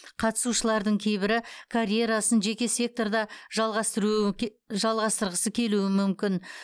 қатысушылардың кейбірі карьерасын жеке секторда жалғастырғысы келуі мүмкін